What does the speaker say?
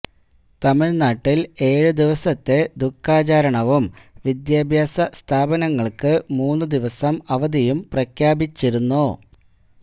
തമിഴ്നാട്ടില് ഏഴു ദിവസത്തെ ദുഃഖാചരണവും വിദ്യാഭ്യാസ സ്ഥാപനങ്ങള്ക്കു മൂന്നു ദിവസം അവധിയും പ്രഖ്യാപിച്ചിരുന്നു